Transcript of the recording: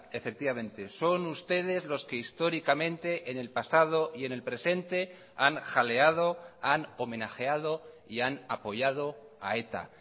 efectivamente son ustedes los que históricamente en el pasado y en el presente han jaleado han homenajeado y han apoyado a eta